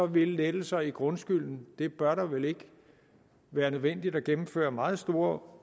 vil lettelser i grundskylden det bør vel ikke være nødvendigt at gennemføre meget store